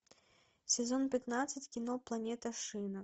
сезон пятнадцать кино планета шина